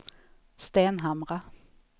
Stenhamra